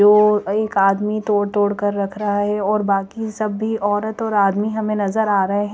तो और एक आदमी तोड़ तोड़ कर रख रहा है और बाकि सब भी औरत और आदमी हमे नज़र आरहे है।